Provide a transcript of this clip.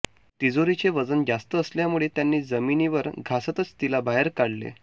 तिजोरीचे वजन जास्त असल्यामुळे त्यांनी जमिनीवर घासतच तिला बाहेर काढले